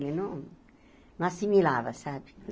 Ele não não assimilava, sabe?